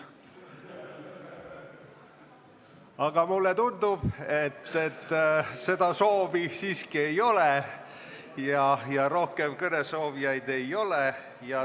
Aga mulle tundub, et seda soovi ei ole ja ka rohkem kõnesoovijaid ei ole.